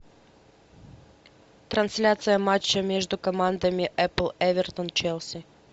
трансляция матча между командами апл эвертон челси